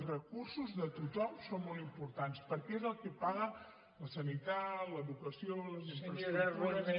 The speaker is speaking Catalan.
els recursos de tothom són molt importants perquè és el que paga la sanitat l’educació les infraestructures